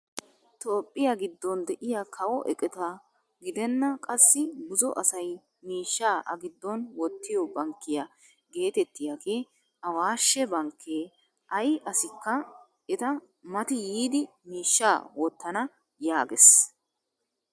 Toophphiyaa giddon de'iyaa kawo eqota gidenna qassi buzo asay miishshaa a giddon wottiyoo bankkiyaa getettiyaagee awaashshe bankkee ayi assikka eta mati yiidi miishshaa wottona yaagees!